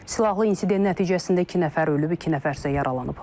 Silahlı insident nəticəsində iki nəfər ölüb, iki nəfər isə yaralanıb.